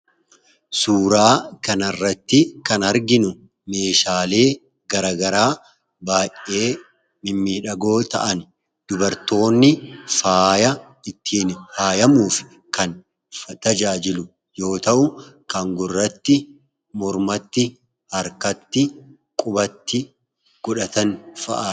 Suuraa kanarratti kan arginu meeshaalee garagaraa baay'ee mimmiidhagoo ta'ani. Dubartoonni faaya ittiin fayyamuuf kan tajaajilu yoo ta'u, kan gurratti, mormatti, harkatti, qubatti godhatan fa'a dha.